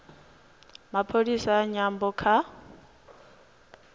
pholisi ya nyambo kha